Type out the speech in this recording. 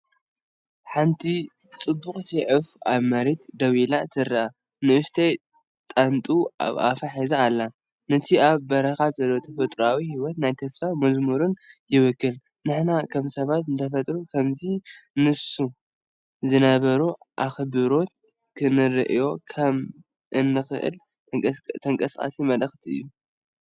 ሓንቲ ጽብቕቲ ዑፍ ኣብ መሬት ደው ኢላ ትርአ። ንእሽቶ ጣንጡ ኣብ ኣፉ ሒዙ ኣሎ፤ ነቲ ኣብ በረኻ ዘሎ ተፈጥሮኣዊ ህይወትን ናይ ተስፋ መዝሙርን ይውክል። ንሕና ከም ሰባት ንተፈጥሮ ከምቲ ንሱ ዝነበሮ ኣኽብሮት ክንርእዮ ከም እንኽእል ተንቀሳቓሲ መልእኽቲ እዩ።